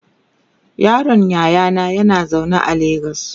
yaron yayana yana zaune a legas